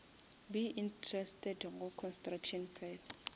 be interested go construction fela